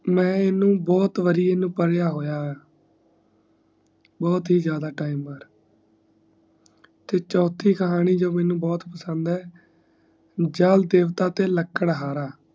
ਮੈਂ ਏਨੂੰ ਬਹੁਤ ਵਾਰੀ ਪੜ੍ਹਿਆ ਹੋਇਆ ਹੈ ਬਹੁਤ ਹੀ ਜ਼ਿਆਦਾ ਵਾਰ ਤੇ ਚੋਥੀ ਕਹਾਣੀ ਜੋ ਮੇਨੂ ਬਹੁਤ ਪਸੰਦ ਏ ਜਲਦੇਵਤਾ ਤੇ ਲੱਕੜਹਾਰਾ